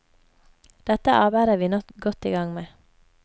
Dette arbeidet er vi nå godt igang med.